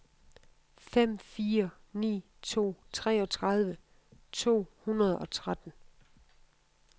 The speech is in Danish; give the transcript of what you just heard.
fem fire ni to treogtredive to hundrede og tretten